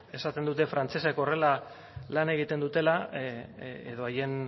esaten dute frantsesek horrela lan egiten dutela edo haien